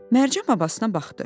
Mərcan babasına baxdı.